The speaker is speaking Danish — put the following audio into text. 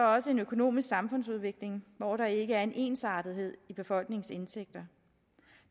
også en økonomisk samfundsudvikling hvor der ikke er en ensartethed i befolkningens indtægter